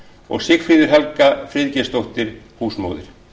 og sigfríður helga friðgeirsdóttir húsmóðir